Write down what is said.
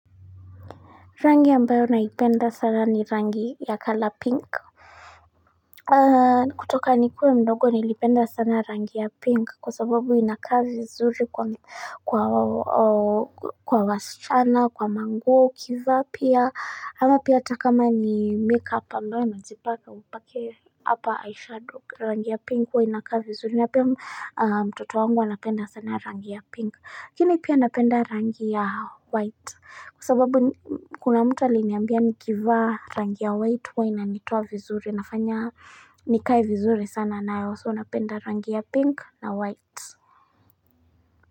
Rangi ambayo naipenda sana ni rangi ya color pink kutoka ni kuwe mdogo nilipenda sana rangi ya pink kwa sababu inakaa vizuri kwa wa wa wasichana kwa manguo ukivaa pia ama pia hata kama ni makeup ambayo najipaka upake apa eyeshadow rangi ya pink huwa inakaa vizuri na pia mtoto wangu anapenda sana rangi ya pink lakini pia napenda rangi ya white Kwa sababu ni kuna mtu aliniambia nikivaa rangi ya white huwa inanitoa vizuri nafanya nikae vizuri sana nayo so napenda rangi ya pink na white.